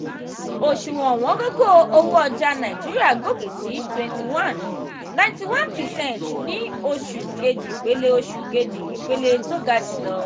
òṣùwọ̀n ọ̀wọ́ngógó owó ọjà nàìjíríà gòkè sí twenty one ninety one percent ní oṣù kejì ipele oṣù kejì ipele tó ga jùlọ.